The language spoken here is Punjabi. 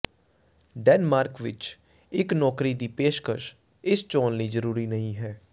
ਡੈਨਮਾਰਕ ਵਿਚ ਇਕ ਨੌਕਰੀ ਦੀ ਪੇਸ਼ਕਸ਼ ਇਸ ਚੋਣ ਲਈ ਜ਼ਰੂਰੀ ਨਹੀਂ ਹੈ